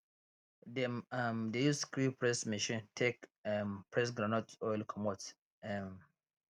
dem um dey use screw press machine take um press groundnut oil comot um